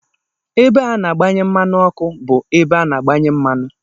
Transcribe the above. Ebe a na-agbanye mmanụ ọkụ bụ ebe a na-agbanye mmanụ.